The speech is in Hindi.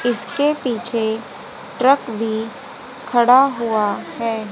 इसके पीछे ट्रक भी खड़ा हुआ है।